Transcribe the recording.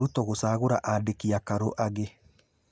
Ruto gũcaagũra andĩki akaru angĩ